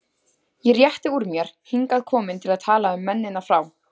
Ég rétti úr mér, hingað komin til að tala um mennina frá